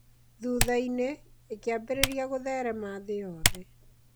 Thutha-inĩ, ĩkĩambĩrĩria gutherema thĩ yothe.